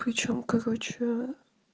хочу короче